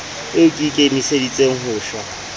eo ke ikemiseditseng ho shwa